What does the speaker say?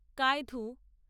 কায়ধু